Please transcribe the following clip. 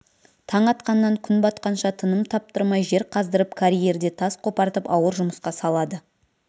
таң атқаннан күн батқанша тыным таптырмай жер қаздырып карьерде тас қопартып ауыр жұмысқа салады